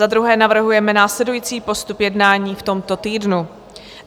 Za druhé navrhujeme následující postup jednání v tomto týdnu.